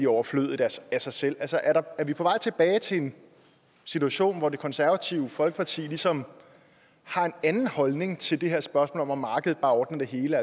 overflødige af sig selv altså er vi på vej tilbage til en situation hvor det konservative folkeparti ligesom har en anden holdning til det her spørgsmål om at markedet bare ordner det hele